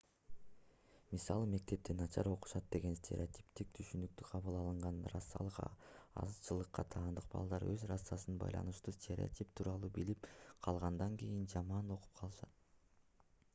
мисалы мектепте начар окушат деген стереотиптик түшүнүктө кабыл алынган расалык азчылыкка таандык балдар өз расасына байланыштуу стереотип тууралуу билип калгандан кийин жаман окуп калышат